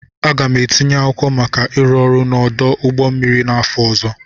Aga m etinye akwụkwọ maka ịrụ ọrụ n'ọdụ ụgbọ mmiri n'afọ ọzọ.